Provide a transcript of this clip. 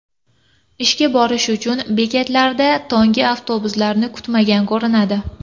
ishga borish uchun bekatlarda tonggi avtobuslarni kutmagan ko‘rinadi.